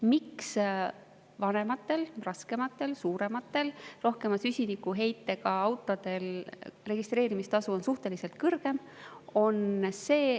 Miks vanematel, raskematel, suurematel ja rohkema süsinikuheitega autodel on registreerimistasu suhteliselt kõrgem?